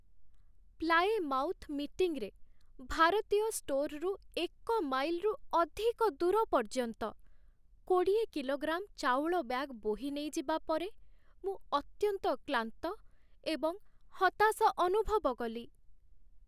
Plymouth ମିଟିଂରେ ଭାରତୀୟ ଷ୍ଟୋର୍‌ରୁ ଏକ ମାଇଲ୍‌ରୁ ଅଧିକ ଦୂର ପର୍ଯ୍ୟନ୍ତ କୋଡ଼ିଏ କିଲୋଗ୍ରାମ୍ ଚାଉଳ ବ୍ୟାଗ୍ ବୋହି ନେଇଯିବା ପରେ ମୁଁ ଅତ୍ୟନ୍ତ କ୍ଳାନ୍ତ ଏବଂ ହତାଶ ଅନୁଭବ କଲି।